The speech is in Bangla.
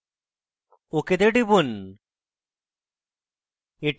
ok তে টিপুন